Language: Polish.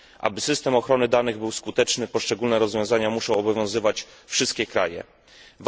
Aby system ochrony danych był skuteczny, poszczególne rozwiązania muszą obowiązywać wszystkie państwa.